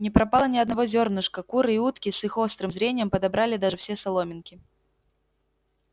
не пропало ни одного зёрнышка куры и утки с их острым зрением подобрали даже все соломинки